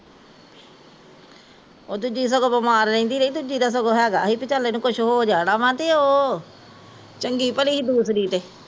ਓਹ ਦੂਜੀ ਤਾਂ ਸਗੋਂ ਬਿਮਾਰ ਰਹਿੰਦੀ ਰਹੀ ਦੂਜੀ ਦਾ ਸਗੋਂ ਹੈਗਾ ਸੀ ਵੀ ਚੱਲ ਏਹਨੂ ਕੁਸ਼ ਹੋ ਜਾਣਾ ਵਾਂ ਤੇ ਓਹ ਚੰਗੀ ਭਲੀ ਸੀ ਦੂਸਰੀ ਤੇ